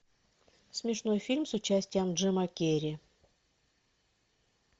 смешной фильм с участием джима керри